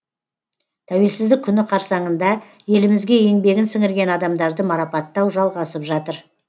тәуелсіздік күні қарсаңында елімізге еңбегін сіңірген адамдарды марапаттау жалғасып жатыр